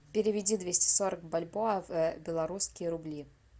переведи двести сорок бальбоа в белорусские рубли